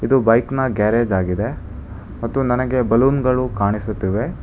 ಇದು ಬೈಕ್ನ ಗ್ಯಾರೇಜ್ ಆಗಿದೆ ಮತ್ತು ನನಗೆ ಬಲೂನ್ ಗಳು ಕಾಣಿಸುತ್ತಿವೆ.